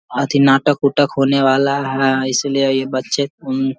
अथी नाटक-उटक होने वाला है इसलिए ये बच्चे उन --